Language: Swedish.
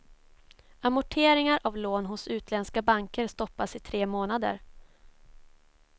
Amorteringar av lån hos utländska banker stoppas i tre månader.